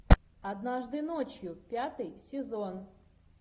однажды ночью пятый сезон